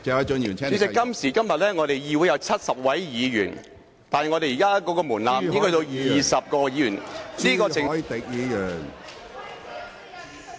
主席，今時今日議會有70位議員，但現時的門檻只需要20位議員......